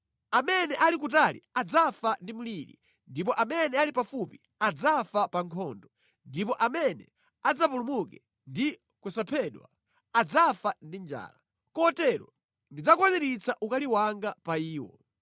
Amene ali kutali adzafa ndi mliri, ndipo amene ali pafupi adzafa pa nkhondo, ndipo amene adzapulumuke ndi kusaphedwa adzafa ndi njala. Kotero ndidzakwaniritsa ukali wanga pa iwo.